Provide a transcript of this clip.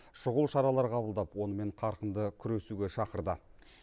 шұғыл шаралар қабылдап онымен қарқынды күресуге шақырды